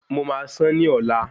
Mo máa sán ní ọ̀la